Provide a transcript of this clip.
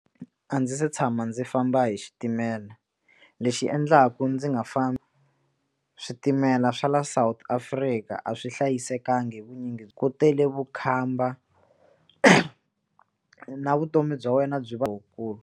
A ndzi se tshama ndzi famba hi xitimela lexi endlaku ndzi nga fambi switimela swa la South Africa a swi hlayisekangi hi vunyingi ku tele vukhamba na vutomi bya wena byi va wukulu.